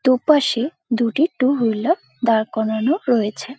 দুপাশে দুটি two wheeler দাঁড় করানো রয়েছে ।